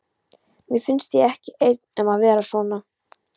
Mér finnst ég ekki einn um að vera svona